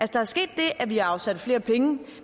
der er sket det at vi har afsat flere penge